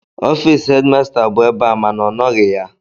Ọfịịsị hedịmasta bụ ebe a mana ọ nọghị ya.